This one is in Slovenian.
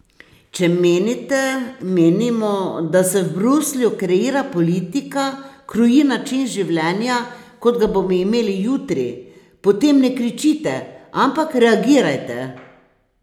Če menite, menimo, da se v Bruslju kreira politika, kroji način življenja, kot ga bomo imeli jutri, potem ne kričite, ampak reagirajte.